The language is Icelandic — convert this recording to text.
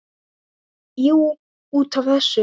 Jú, út af þessu.